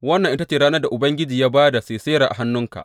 Wannan ita ce ranar da Ubangiji ya ba da Sisera a hannunka.